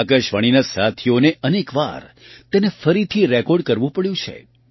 આકાશવાણીના સાથીઓને અનેક વાર તેને ફરીથી રેકૉર્ડ કરવું પડ્યું છે